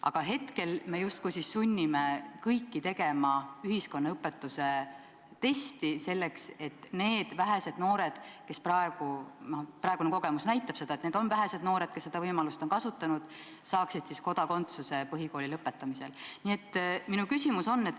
Aga hetkel me justkui sunnime kõiki tegema ühiskonnaõpetuse testi, selleks et need vähesed noored – praegune kogemus näitab, et neid noori on vähe, kes seda võimalust on kasutanud – saaksid põhikooli lõpetamisel kodakondsuse.